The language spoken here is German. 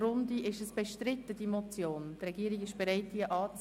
In die Runde frage ich, ob die Motion bestritten wird.